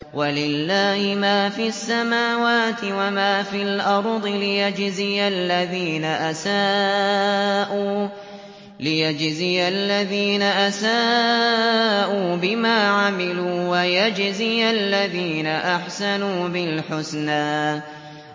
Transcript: وَلِلَّهِ مَا فِي السَّمَاوَاتِ وَمَا فِي الْأَرْضِ لِيَجْزِيَ الَّذِينَ أَسَاءُوا بِمَا عَمِلُوا وَيَجْزِيَ الَّذِينَ أَحْسَنُوا بِالْحُسْنَى